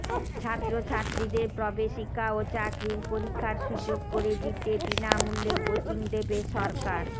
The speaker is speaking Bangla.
ছাত্রছাত্রীদের প্রবেশিকা ও চাকরীর পরীক্ষার সুযোগ করে দিতে বিনামূল্যে কোচিং দেবে সরকার